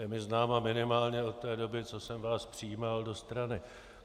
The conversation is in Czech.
Je mi známa minimálně od té doby, co jsem vás přijímal do strany.